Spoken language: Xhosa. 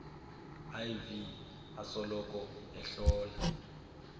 iv asoloko ehlola